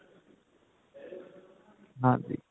ਹਾਂਜੀ